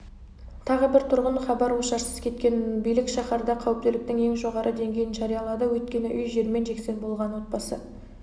тағы тұрғын хабар-ошарсыз кеткен билік шаһарда қауіптіліктің ең жоғары деңгейін жариялады өйткені үй жермен-жексен болған отбасы